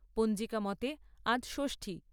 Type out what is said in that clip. পঞ্জিকা মতে আজ ষষ্ঠী।